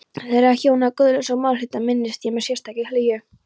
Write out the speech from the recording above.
Þeirra hjóna, Guðlaugs og Málhildar, minnist ég með sérstakri hlýju.